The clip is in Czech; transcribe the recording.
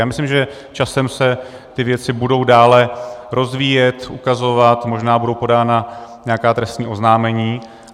Já myslím, že časem se ty věci budou dále rozvíjet, ukazovat, možná budou podána nějaká trestní oznámení.